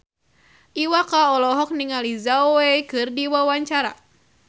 Iwa K olohok ningali Zhao Wei keur diwawancara